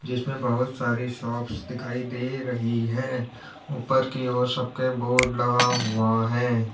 जिसमें बहुत सारी शॉप्स दिखाई दे रही है ऊपर की ओर सबके बोर्ड लगा हुआ है।